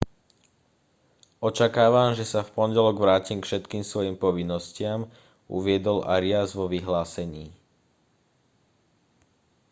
očakávam že sa v pondelok vrátim k všetkým svojim povinnostiam uviedol arias vo vyhlásení